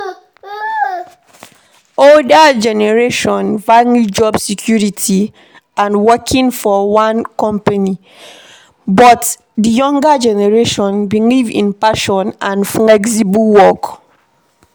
Older generation value job security and working for one company but di younger generation believe in passion and flexible work